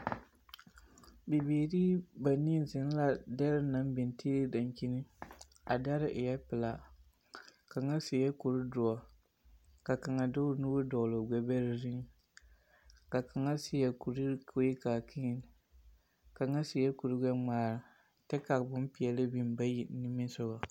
Bibiiri banii zeŋ la dɛre naŋ biŋ tiili dankyini. A dare eɛɛ pelaa. Kaŋa seɛɛ kurdoɔ, ka kaŋa de o nuur dɔgle o gbɛbɛrɛ zuiŋ. Ka kaŋa seɛ kuri kurkaakii. Kaŋa seɛɛ kurgbɛŋmaara, tɛ ka bompeɛle biŋ bayi niŋe sɔgɔ.